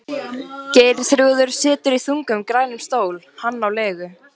Geirþrúður situr í þungum, grænum stól, hann á legu